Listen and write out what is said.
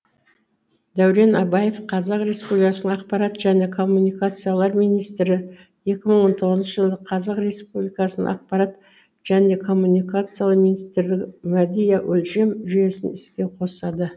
дәурен абаев қр ақпарат және коммуникациялар министрі екі мың он тоғызыншыжылы қр ақпарат және коммуникациялар министрлігі медиа өлшем жүйесін іске қосады